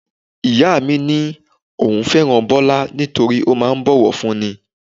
Ìyá mi ní òun fẹ́ràn Bọlá nítorí ó máa ń bowofunni.